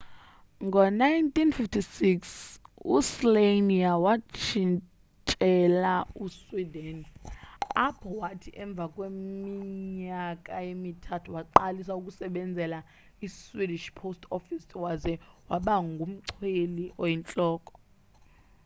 ngo 1956 u slania watshintshela e sweden apho wathi emva kweminyaka emithathu waqalisa ukusebenzela i swedishh post office waze waba ngumchweli oyintloko